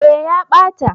eh ya ɓata